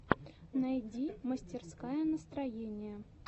найди мастерская настроения